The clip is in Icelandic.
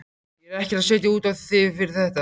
Ég er ekkert að setja út á þig fyrir þetta.